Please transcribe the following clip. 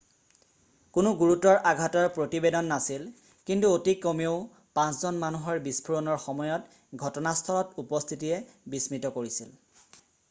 কোনো গুৰুতৰ আঘাতৰ প্ৰতিবেদন নাছিল কিন্তু অতি কমেও 5 জন মানুহৰ বিস্ফোৰণৰ সময়ত ঘটনাস্থলত উপস্থিতিয়ে বিস্মিত কৰিছিল